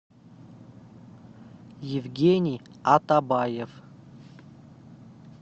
евгений атабаев